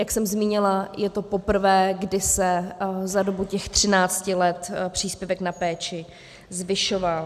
Jak jsem zmínila, je to poprvé, kdy se za dobu těch 13 let příspěvek na péči zvyšoval.